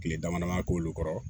Tile damadamanin k'olu kɔrɔ